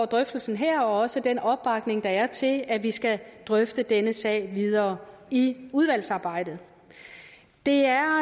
drøftelsen her og også for den opbakning der er til at vi skal drøfte denne sag videre i udvalgsarbejdet det er